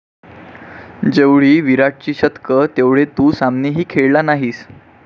जेवढी विराटची शतकं तेवढे तू सामनेही खेळला नाहीस